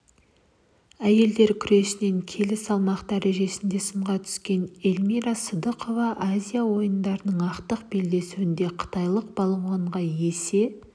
әйелдер күресінен келі салмақ дәрежесінде сынға түскен эльмира сыздықова азия ойындарының ақтық белдесуінде қытайлық балуанға есе